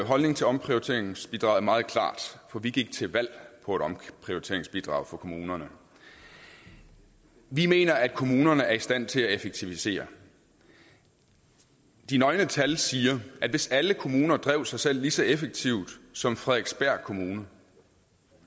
holdning til omprioriteringsbidraget er meget klar for vi gik til valg på et omprioriteringsbidrag for kommunerne vi mener at kommunerne er i stand til at effektivisere de nøgne tal siger at hvis alle kommuner drev sig selv lige så effektivt som frederiksberg kommune